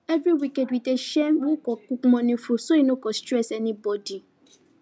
every weekend we dey share who go cook morning food so e no go stress anybody